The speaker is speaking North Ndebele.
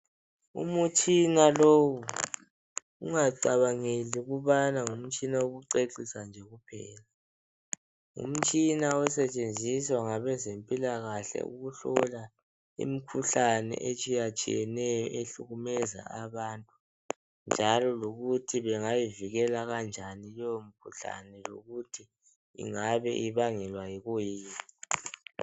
Umtshina lowu ungacabangeli ukubana ngumtshina wokucecisa nje kuphela, ngumtshina osetshenziswa ngabezempilakahle ukuhlola imkhuhlane etshiyatshiyeneyo ehlukumeza abantu, njalo lokuthi bengayivikela kanjani keyo mikhuhlane lokuthi ingabe ibangelwa yikuyini.